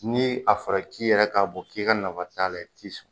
Ni a fɔra k'i yɛrɛ k'a bɔ k'i ka nafa t'a la i ti sɔn